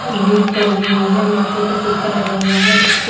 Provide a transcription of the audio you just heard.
lead पड़ी हुई है माथे पे टीका लगा हुआ है उसके--